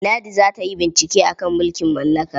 Ladi za ta yi bincike a kan mulkin mallaka.